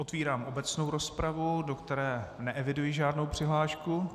Otevírám obecnou rozpravu, do které neeviduji žádnou přihlášku.